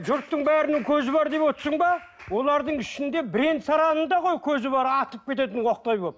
жұрттың бәрінің көзі бар деп отырсың ба олардың ішінде бірен сараңында ғой көзі бар атып кететін оқтай болып